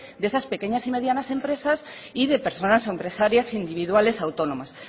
de esa pequeñas y medianas empresas y de personas empresarias individuales autónomas